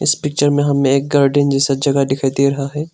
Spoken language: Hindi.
पिक्चर में हमने एक गार्डन जैसा जगह दिखाई दे रहा है।